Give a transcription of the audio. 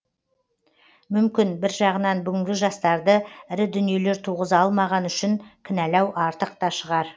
мүмкін бір жағынан бүгінгі жастарды ірі дүниелер туғыза алмағаны үшін кінәлау артық та шығар